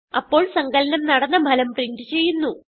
അപ്പോൾ സങ്കലനം നടന്ന ഫലം പ്രിന്റ് ചെയ്യുന്നു